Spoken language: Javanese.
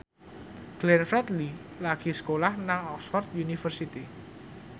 Glenn Fredly lagi sekolah nang Oxford university